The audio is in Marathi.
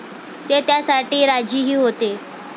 ते त्यासाठी राजीही होते.